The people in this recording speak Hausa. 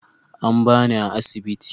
An ba ni a asibiti.